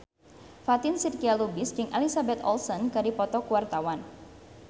Fatin Shidqia Lubis jeung Elizabeth Olsen keur dipoto ku wartawan